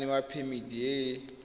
tla newa phemiti e e